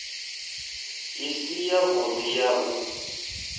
i si yavhudi ya u